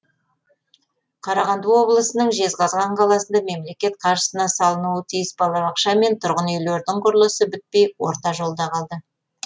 қарағанды облысының жезқазған қаласында мемлекет қаржысына салынуы тиіс балабақша мен тұрғын үйлердің құрылысы бітпей орта жолда қалды